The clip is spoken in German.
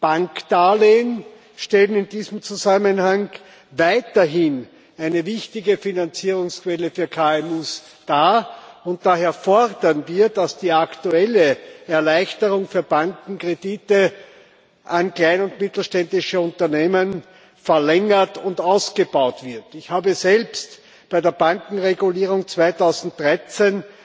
Bankdarlehen stellen in diesem Zusammenhang weiterhin eine wichtige Finanzierungsquelle für KMU dar, und daher fordern wir, dass die aktuelle Erleichterung für Banken bei der Kreditvergabe an kleine und mittelständische Unternehmen verlängert und ausgebaut wird. Ich habe selbst bei der Bankenregulierung 2013